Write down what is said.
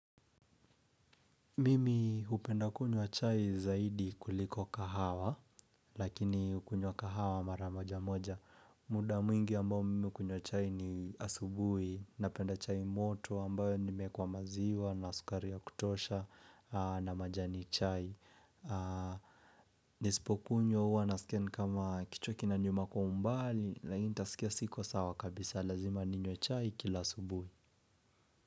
Mimi hupenda kunywa chai zaidi kuliko kahawa, lakini kunywa kahawa mara moja moja. Muda mwingi ambao mimi hukunywa chai ni asubuhi, napenda chai moto ambayo nimeekwa maziwa na sukari ya kutosha na majani chai. Nisipo kunywa huwa naskia nikama kichwa kinauma kwa umbali, lakini nitasikia siko sawa kabisa lazima ninywe chai kila asubuhi.